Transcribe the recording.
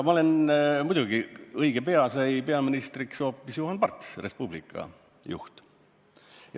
Muidugi, õige pea sai peaministriks hoopis Juhan Parts, Res Publica juht.